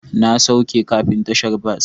Na sauke kafin tashar bas.